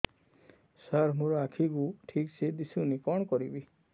ସାର ମୋର ଆଖି କୁ ଠିକସେ ଦିଶୁନି କଣ କରିବି